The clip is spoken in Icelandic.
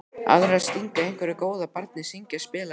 Aðrir að stinga einhverju góðu að barni, syngja, spila, leika.